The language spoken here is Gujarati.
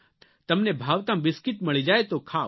તમને ભાવતાં બિસ્કિટ મળી જાય તો ખાવ